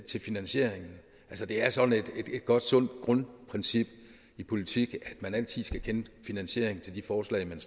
til finansieringen det er sådan et godt sundt grundprincip i politik at man altid skal kende finansieringen til de forslag man